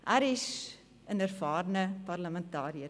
Er ist ein erfahrener Parlamentarier.